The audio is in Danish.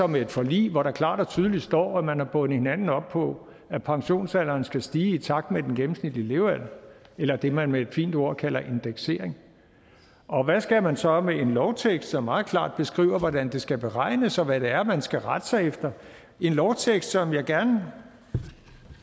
med et forlig hvor der klart og tydeligt står at man har bundet hinanden op på at pensionsalderen skal stige i takt med den gennemsnitlige levealder eller det man med et fint ord kalder indeksering og hvad skal man så med en lovtekst som meget klart beskriver hvordan det skal beregnes og hvad det er man skal rette sig efter en lovtekst som jeg gerne